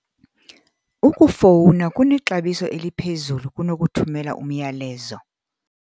Ukufowuna kunexabiso eliphezulu kunokuthumela umyalezo.